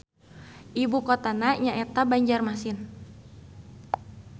Ibu kotana nyaeta Banjarmasin.